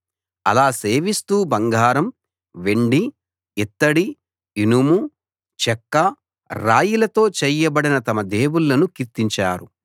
అలా సేవిస్తూ బంగారం వెండి యిత్తడి ఇనుము చెక్క రాయిలతో చేయబడిన తమ దేవుళ్ళను కీర్తించారు